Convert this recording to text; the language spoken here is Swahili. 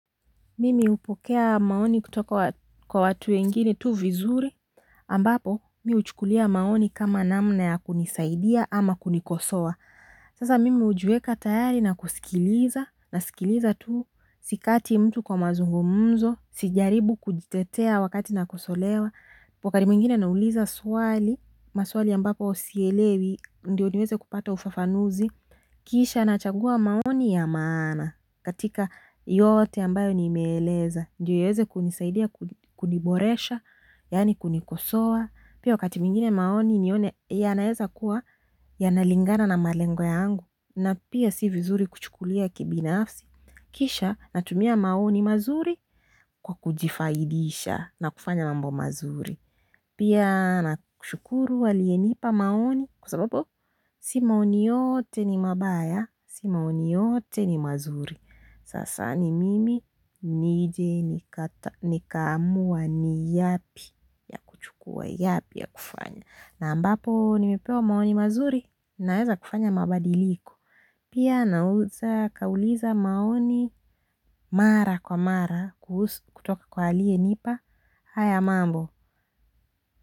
Mimi upokea maoni kutoka kwa watu wengine tu vizuri ambapo mi uchukulia maoni kama namna ya kunisaidia ama kunikosoa sasa mimi ujiweka tayari na kusikiliza nasikiliza tu sikati mtu kwa mazungumzo. Sijaribu kujitetea wakati na kusolewa wakati mwingine nauliza swali maswali ambapo sielewi ndio niweze kupata ufafanuzi kisha nachagua maoni ya maana katika yote ambayo nimeeleza ndiyo iweze kunisaidia kuniboresha, yaani kunikosoa. Pia wakati mwingine maoni nione yanaeza kuwa yanalingana na malengo yangu. Na pia si vizuri kuchukulia kibinafsi. Kisha natumia maoni mazuri kwa kujifaidisha, na kufanya mambo mazuri pia nakushukuru walienipa maoni kwa sababu si maoni yote ni mabaya, si maoni yote ni mazuri. Sasa ni mimi nije nikaamua ni yepi ya kuchukua yepi ya kufanya. Na ambapo nimepewa maoni mazuri naweza kufanya mabadiliko. Pia nauliza maoni mara kwa mara kutoka kwa aliyenipa haya mambo.